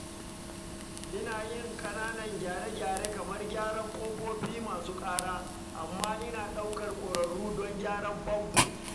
Ina yin ƙananan gyare-gyare kamar gyaran ƙofofi masu ƙara, amma ina ɗaukar ƙwararru don gyaran famfo.